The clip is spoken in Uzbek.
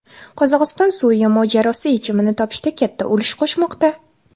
Qozog‘iston Suriya mojarosi yechimini topishda katta ulush qo‘shmoqda.